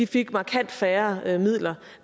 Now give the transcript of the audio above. fik markant færre midler